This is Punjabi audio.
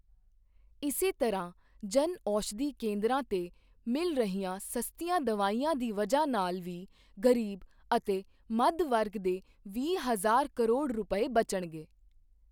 ਇਸੇ ਤਰ੍ਹਾਂ ਜਨ ਔਸ਼ਧੀ ਕੇਂਦਰਾਂ ਤੇ ਮਿਲ ਰਹੀਆਂ ਸਸਤੀਆਂ ਦਵਾਈਆਂ ਦੀ ਵਜ੍ਹਾ ਨਾਲ ਵੀ ਗ਼ਰੀਬ ਅਤੇ ਮੱਧ ਵਰਗ ਦੇ ਵੀਹ ਹਜ਼ਾਰ ਕਰੋੜ ਰੁਪਏ ਬਚਣਗੇ।